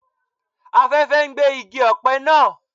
Afẹ́fẹ́ ń gbé igi ọ̀pẹ naa